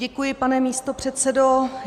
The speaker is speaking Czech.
Děkuji, pane místopředsedo.